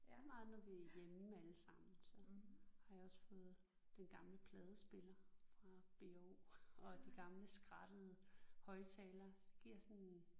Ja meget når vi er hjemme alle sammen så har jeg også fået den gamle pladespiller fra B&O og de gamle skrattede højtalere så det giver sådan